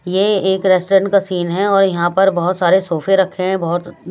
यह एक रेस्टोरेंट का सीन है और यहां पर बहोत सारे सोफे रखे हैं बहोत--